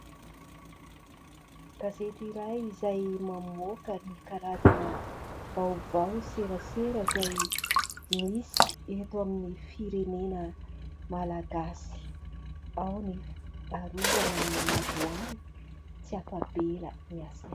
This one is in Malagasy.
Gazety iray izay mamoaka ny karazana vaovao, serasera izay misy eto amin'ny firenena malagasy. Ao ny : Arovana ny ladoany, tsy afa-bela ny ACM.